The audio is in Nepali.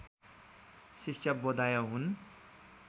शिष्याबोधाय हुन्